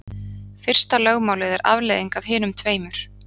Fyrsta lögmálið er afleiðing af hinum tveimur.